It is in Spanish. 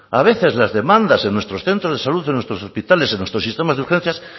a veces las demandas en nuestros centros de salud en nuestros hospitales en nuestro sistema de urgencias